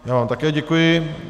Já vám také děkuji.